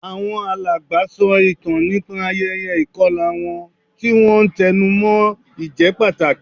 Àwọn alàgbà sọ ìtàn nípa ayẹyẹ ìkọlà wọn, tí wọ́n ń tẹnu mọ́ ìjẹ́pàtàkì